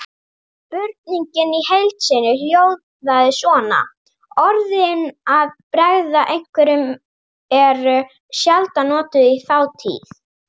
Spurningin í heild sinni hljóðaði svona: Orðin að bregða einhverjum eru sjaldan notuð í þátíð.